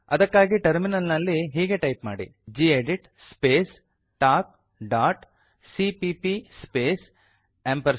ಅದಕ್ಕಾಗಿ ಟರ್ಮಿನಲ್ ನಲ್ಲಿ ಹೀಗೆ ಟೈಪ್ ಮಾಡಿ gedit space talk dot CPP space amp sign